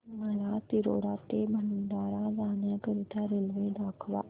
मला तिरोडा ते भंडारा जाण्या करीता रेल्वे दाखवा